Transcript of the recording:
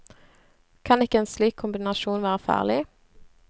Kan ikke en slik kombinasjon være farlig?